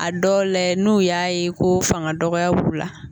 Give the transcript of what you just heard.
A dɔw la, n'u y'a ye ko fanga dɔgɔya b'u la.